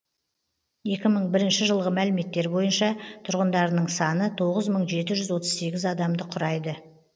екі мың бірінші жылғы мәліметтер бойынша тұрғындарының саны тоғыз мың жеті жүз отыз сегіз адамды құрайды